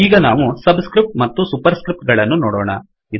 ಈಗ ನಾವು subscripts ಮತ್ತು ಸುಪರ್ ಸ್ಕ್ರಿಫ್ಟ್ ಗಳನ್ನು ನೋಡೋಣ